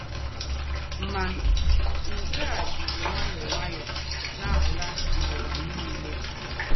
Mà, nke à jízí ǹwáyọ̀ọ́ ǹwáyọ̀ọ́ ná-àlà n’ụ́wà nìlè.